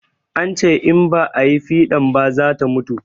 An ce in ba ayi fiɗan ba zata mutu